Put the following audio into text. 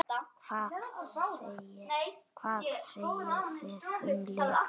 Hvað segið þið um lyf?